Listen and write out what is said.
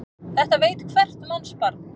Þetta veit hvert mannsbarn.